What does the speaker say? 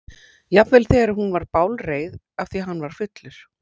Jafnvel þegar hún var bálreið af því að hann var fullur.